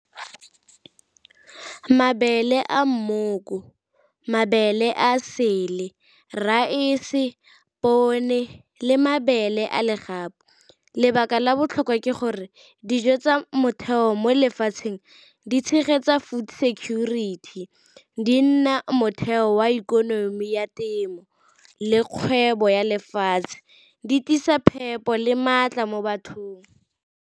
Mabele a mmoko, mabele a sele, raese, pone le mabele a le . Lebaka la botlhokwa ke gore dijo tsa motheo mo lefatsheng di tshegetsa food security, di nna motheo wa ikonomi ya temo le kgwebo ya lefatshe, di tiisa phepo le maatla mo bathong.